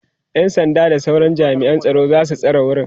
ƴan sanda da sauran jami'an tsaro zasu tsare wurin